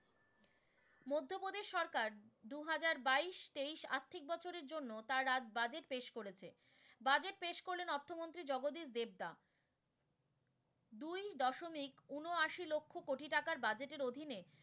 মধ্যপ্রদেশ সরকার দুহাজার বাইশ তেইশ আর্থিক বছরের জন্য তার আজ budget পেশ করেছে, budget পেশ করলেন অর্থমন্ত্রী জগদীশ দেবদা। দুই দশমিক ঊনআশি লক্ষ কোটি টাকার budget এর অধীনে,